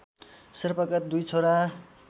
शेर्पाका २ छोरा